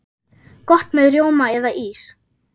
Gott með rjóma eða ís.